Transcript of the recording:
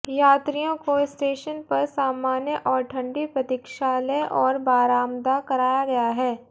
यात्रियों को स्टेशन पर सामान्य और ठंडी प्रतिक्षालय और बारामदा कराया गया है